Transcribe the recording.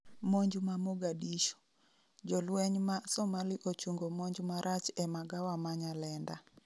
monj ma Mogadishu :jolweny ma somali ochungo monj marach e magawa ma Nyalenda